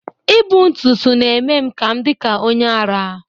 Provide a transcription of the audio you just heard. I bu ntụtụ na-eme m ka m dị ka onye ara